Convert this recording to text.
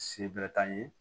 Se bɛrɛ t'an ye